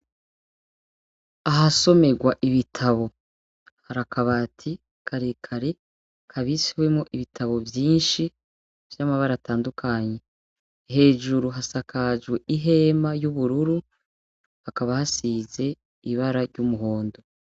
Ahasomerwa ibitabo, hari akabati karekare kabitswemwo ibitabo vyinshi vy'amabara atandukanye, hejuru hasakajwe ihema y'ubururu, hakaba hasize ibara ry'umuhondo.